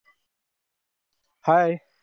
hi